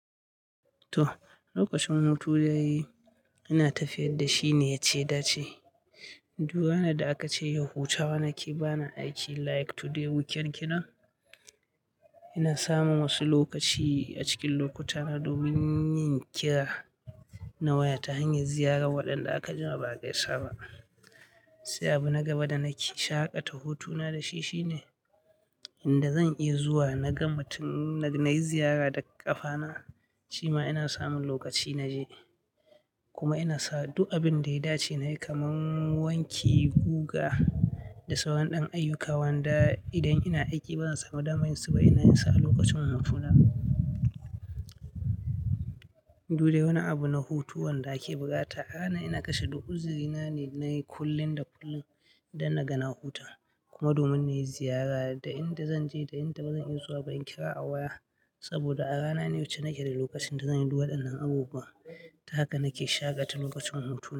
To, lokacin hutu dai ina tafiyar da shi ne yacce ya dace. Duk ranan da aka ce yau hutawa, nake ba na aiki like today weekend kenan. Ina samun wasu lokaci a cikin lokuta na domin yin kira na waya ta hanyar ziyarar waɗanda aka jima ba a gaisa ba. Sai abin na gaba da nake shaƙata hutuna da shi shine inda zan iya zuwa na ga mutun, na yi ziyara da ƙafa na. Shima ina samun lokaci na je kuma ina sa duk abin da ya dace nayi kamar wanki, guga da sauran ɗan ayyuka wanda idan ina aiki ba zan samu damar yin su ba ina yinsa a lokacin hutu na. Du da wani abu na hutu wanda ake buƙata. A ranan ina kashe duk uzuri na ne nayi kullin da kullin idan na gana hutun kuma domin na yi ziyara da inda zan je da inda bazan iya zuwa ba in kira a waya. Saboda a rana ne wacce nake da lokacin da zan yi duk waɗannan abubuwa. Ta haka nake shaƙata lokacin hutu na.